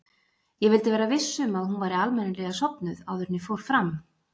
Ég vildi vera viss um að hún væri almennilega sofnuð áður en ég fór fram.